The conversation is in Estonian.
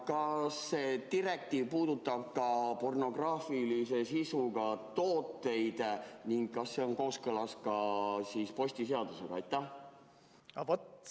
Kas see direktiiv puudutab ka pornograafilise sisuga tooteid ning kas see on kooskõlas postiseadusega?